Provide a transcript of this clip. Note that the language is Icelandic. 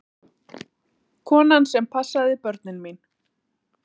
Konan sem passaði börnin mín.